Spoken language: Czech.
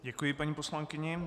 Děkuji paní poslankyni.